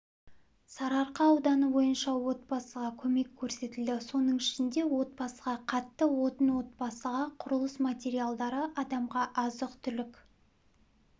сарыарқа ауданы бойынша отбасыға көмек көрсетілді соның ішінде отбасыға қатты отын отбасыға құрылыс материалдары адамға азық-түлік